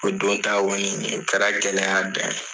O don ta kɔni o kɛra gɛlɛya dan ye.